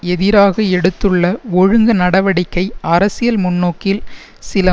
எதிராக எடுத்துள்ள ஒழுங்கு நடவடிக்கை அரசியல் முன்னோக்கில் சில